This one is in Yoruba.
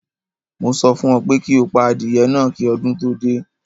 Mo sọ fún ọ pé kí o pa adìyẹ náà kí ọdún tó dé!